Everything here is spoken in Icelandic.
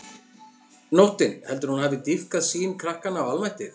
Nóttin, heldurðu að hún hafi dýpkað sýn krakkanna á almættið?